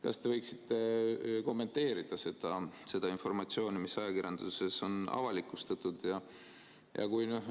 Kas te võiksite kommenteerida seda informatsiooni, mis ajakirjanduses on avalikustatud?